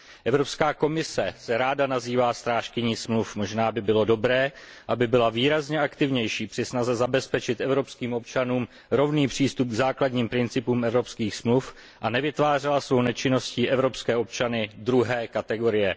Evropská komise se ráda nazývá strážkyní smluv, možná by bylo dobré, aby byla výrazně aktivnější při snaze zabezpečit evropským občanům rovný přístup k základním principům evropských smluv a nevytvářela svou nečinností evropské občany druhé kategorie.